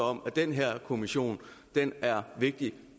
om at den her kommission er vigtig